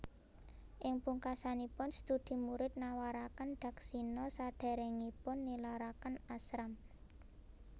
Ing pungkasanipun studi murid nawaraken dakshina sadéréngipun nilaraken ashram